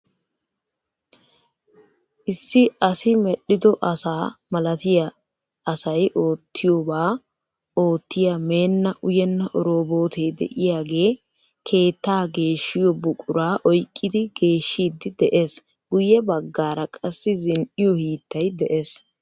Issi asi medhido asaa malatiya asay oottiyooba oottiya meenna uyenna oroobotee de"iyaagee keetta geeshiyoo buquraa oyqqidi geeshshiiddi de'ees. Guyye baggaara qassi zin"iyoo hiittay de'ees.